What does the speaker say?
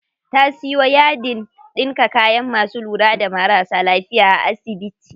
Ta siyo yadin ɗinka kayan masu lura da marasa lafiya a asibiti.